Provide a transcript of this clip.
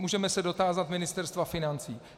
Můžeme se dotázat Ministerstva financí.